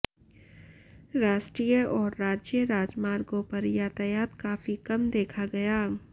राष्ट्रीय और राज्य राजमार्गों पर यातायात काफी कम देखा गया